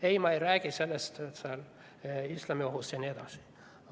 Ei, ma ei räägi islamiohust jne.